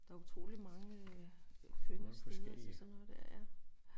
Der er utroligt mange øh kønne steder se sådan noget der ja